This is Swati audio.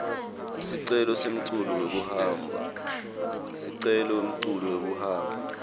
sicelo semculu wekuhamba